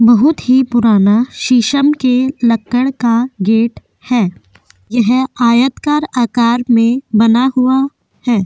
बहुत ही पुराना शीसम कि लक्कड का गेट है यह आयतकार आकार में बना हुआ है।